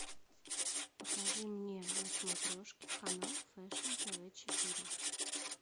покажи мне на смотрешке канал фэшн тв четыре